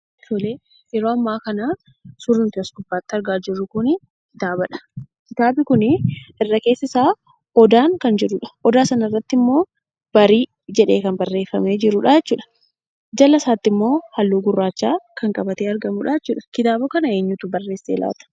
Tole, yeroo amma kanaa, suuraa as gubbarratti argaa jirru kunii kitaabadha. kitaabni kunii irrii keessasa odaadhan kan jirudha. Odaa sanarrattimmoo subii kan jedhamee barreeffame jirudha. jalaa isaattimmo halluu gurraacha qabatee argamudha jechuudha. Kitaaba kana eenyuutu barreesse laata?